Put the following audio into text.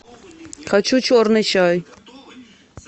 хочу черный чай